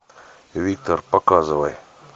виктор показывай